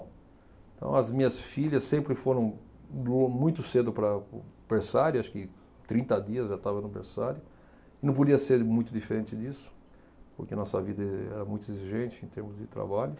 Então, as minhas filhas sempre foram muito cedo para o berçário, acho que trinta dias já estavam no berçário, e não podia ser muito diferente disso, porque a nossa vida eh era muito exigente em termos de trabalho.